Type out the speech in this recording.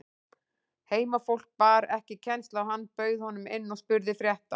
Heimafólk bar ekki kennsl á hann, bauð honum inn og spurði frétta.